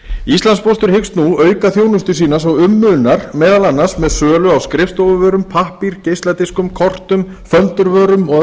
íslandspóstur hyggst nú auka þjónustu sína svo um munar meðal annars með sölu á skrifstofuvörum pappír geisladiskum kortum föndurvörum og